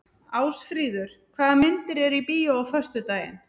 Ásfríður, hvaða myndir eru í bíó á föstudaginn?